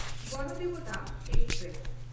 Ganadevata express